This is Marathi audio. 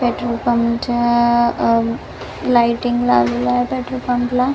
पॅट्रोल पंप च्या आ अ लाईटींग लावलेल्या आहेत पॅट्रोल पंप ला.